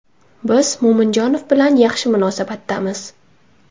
Biz Mo‘minjonov bilan yaxshi munosabatdamiz.